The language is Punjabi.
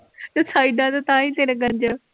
ਤੇ ਸਾਇਡਾਂ ਤੋਂ ਤਾਂਹੀ ਤੇਰੇ ਗੰਜ।